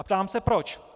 A ptám se proč.